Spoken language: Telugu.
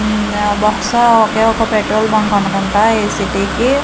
బహుశా ఒకే ఒక పెట్రోల్ బంక్ అనుకుంటా ఈ సిటీకి .